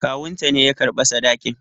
Kawunta ne ya karɓa sadakin.